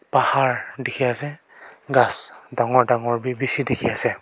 pahar dekhi ase ghas dangor dangor vi bishi dekhi ase.